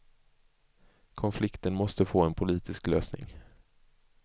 Konflikten måste få en politisk lösning.